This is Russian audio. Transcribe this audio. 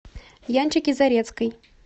янчике зарецкой